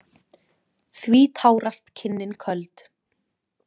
Því tárast kinnin köld.